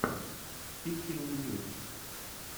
пиксельный мир